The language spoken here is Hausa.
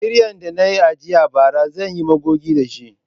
Kiryan da na ajiye bara zan yi magogi da shi.